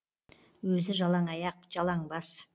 өзі жалаң аяқ жалаң бас